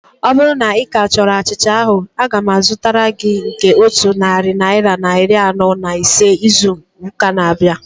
Ọ bụrụ na ika chọrọ achịcha ahu, aga m azụtara gị nke otu narị naira na iri anọ na ise izu ụka na-abịa